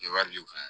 E wari di u ma